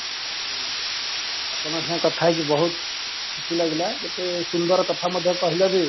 ଆପଣଙ୍କ ସଙ୍ଗେ କଥା ହେଇକି ବହୁତ ଖୁସି ଲାଗିଲା କେତେ ସୁନ୍ଦର କଥା ମଧ୍ୟ କହିଲ ଯେ